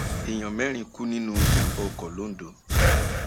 èèyàn mẹrin kú nínú ìjàmbá ọkọ londo